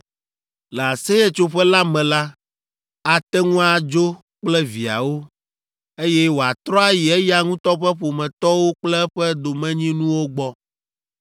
Le Aseyetsoƒe la me la, ate ŋu adzo kple viawo, eye wòatrɔ ayi eya ŋutɔ ƒe ƒometɔwo kple eƒe domenyinuwo gbɔ.